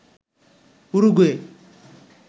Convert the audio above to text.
Uruguay